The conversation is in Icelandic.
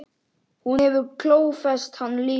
Hún hefur klófest hann líka.